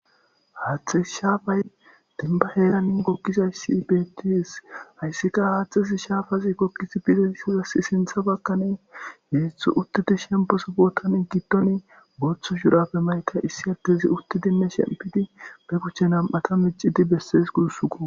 HaatheyShapay dembba heeran shaafara goggizayssa bettes haysika hathezi shafa gidizaysi gogidi Dizaysi sinthan baganihezu uttidi Botani gidoni Botha shurabe mayida uttidine shempidi be kushen nam'ata besses gusssuko